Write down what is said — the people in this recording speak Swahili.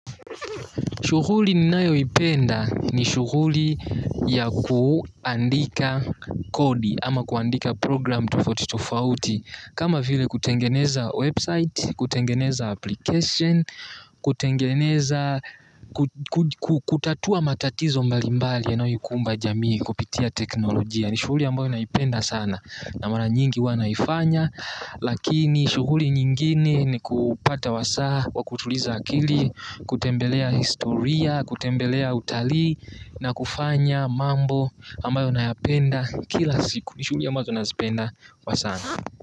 Shughuli ninayoipenda ni shughuli ya kuandika kodi ama kuandika program tufoti tufauti kama file kutengeneza website, kutengeneza application, kutengeneza, kutatua matatizo mbalimbali yanayoikumba jamii kupitia teknolojia. Ni shughuli ambayo naipenda sana na mara nyingi huwa naifanya lakini shuhuli nyingine ni kupata wasaa wa kutuliza akili, kutembelea historia, kutembelea utalii na kufanya mambo ambayo nayapenda kila siku ni shughuli ambayo nazipenda kwa sana.